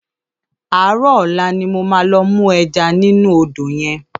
Àárò òlá ni mó má lò mú èjá ninú ódó yèn